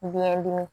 Biyɛn dimi